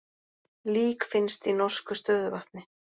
Lík finnst í norsku stöðuvatni